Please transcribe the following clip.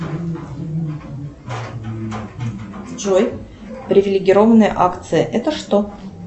джой привилегированная акция это что